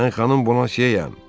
Mən xanım Bonasiyəm!